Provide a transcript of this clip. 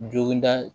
Joginda